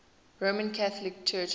roman catholic church offices